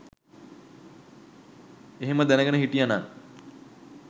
එහෙම දැනගෙන හිටියනන්